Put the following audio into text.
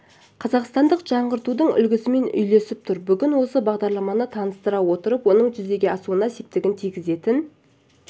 қазақстандық жаңғыртудың үлгісімен үйлесіп тұр бүгін осы бағдарламаны таныстыра отырып оның жүзеге асуына септігін тигізетін